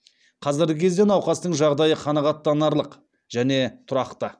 қазіргі кезде науқастың жағдайы қанағаттанарлық және тұрақты